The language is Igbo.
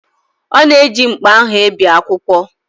Ọ na-eji mkpa ahụ e bee akwụkwọ.